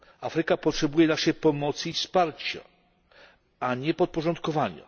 Afryka potrzebuje naszej pomocy i wsparcia, a nie podporządkowania.